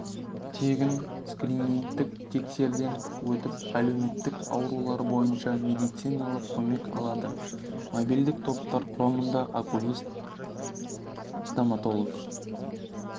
тегін скринингтік тексерден өтіп әлеуметтік аурулар бойынша медициналық көмек алады мобильдік топтар құрамында окулист офтальмолог